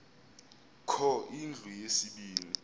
kho indlu yesibini